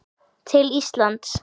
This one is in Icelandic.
til Íslands?